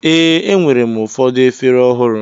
Ee, enwere m ụfọdụ efere ọhụrụ.